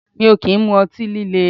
Mi ò kì ń mu ọtí líle